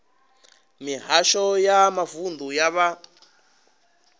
mihasho ya mavunḓu ya vha